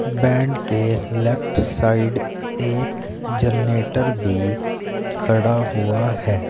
Band के left side एक generator भी खड़ा हुआ है।